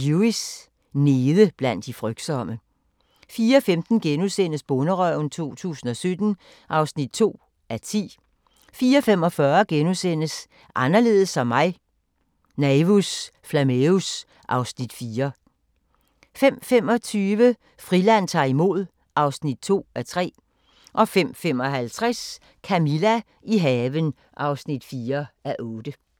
02:50: Lewis: Nede blandt de frygtsomme 04:15: Bonderøven 2017 (2:10)* 04:45: Anderledes som mig – Naevus Flammeus (Afs. 4)* 05:25: Friland ta'r imod (2:3) 05:55: Camilla – i haven (4:8)